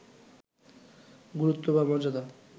গুরুত্ব বা মর্যাদা